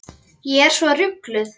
Ég er svo rugluð.